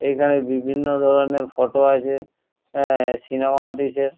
এখানে বিভিন্ন ধরনের ফটো আছে আ সিনেমা আর্টিস্ট -এর।